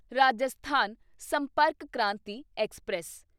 Rajasthan Sampark Kranti express